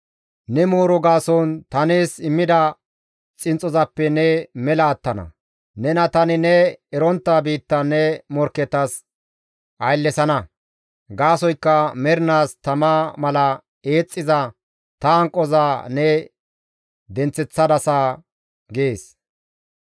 Ne mooro gaason ta nees immida xinxxozappe ne mela attana; nena tani ne erontta biittan ne morkketas ayllesana. Gaasoykka mernaas tama mala eexxiza ta hanqoza ne denththeththadasa» gees.